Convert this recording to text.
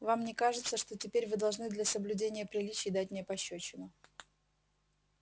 вам не кажется что теперь вы должны для соблюдения приличий дать мне пощёчину